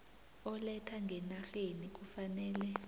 oletha ngenarheni kufanele